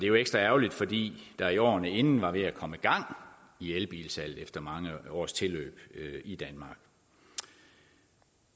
jo ekstra ærgerligt fordi der i årene inden var ved at komme i gang i elbilsalget efter mange års tilløb i danmark